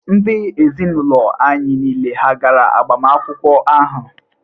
Ndị ezinụlọ anyị niile hà gara agbamakwụkwọ ahụ?